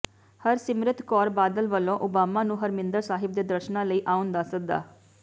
ਹਰਸਿਮਰਤ ਕੌਰ ਬਾਦਲ ਵੱਲੋਂ ਓਬਾਮਾ ਨੂੰ ਹਰਿਮੰਦਰ ਸਾਹਿਬ ਦੇ ਦਰਸ਼ਨਾਂ ਲਈ ਆਉਣ ਦਾ ਸੱਦਾ